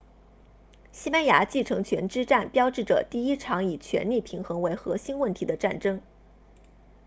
西班牙继承权之战标志着第一场以权力平衡为核心问题的战争